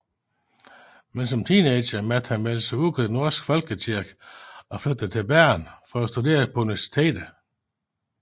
Men som teenager meldte han sig ud af den norske folkekirke og flyttede til Bergen for at studere på universitetet